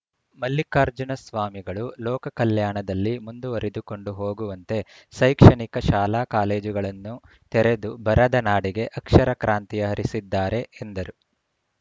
ಮಲ್ಲಿಕಾರ್ಜುನ ಸ್ವಾಮಿಗಳು ಲೋಕ ಕಲ್ಯಾಣದಲ್ಲಿ ಮುಂದುವರಿದುಕೊಂಡು ಹೋಗುವಂತೆ ಶೈಕ್ಷಣಿಕ ಶಾಲಾ ಕಾಲೇಜುಗಳನ್ನು ತೆರೆದು ಬರದ ನಾಡಿಗೆ ಅಕ್ಷರಕ್ರಾಂತಿಯ ಹರಿಸಿದ್ದಾರೆ ಎಂದರು